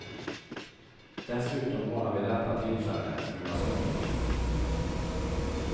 Dessutom var han vid detta tillfälle en smula sömndrucken.